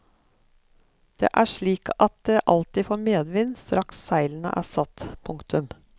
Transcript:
Det er slik at det alltid får medvind straks seilene er satt. punktum